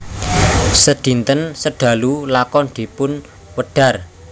Sedinten sedalu lakon dipunwedhar